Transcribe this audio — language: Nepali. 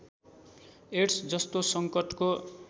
एड्स जस्तो सङ्कटको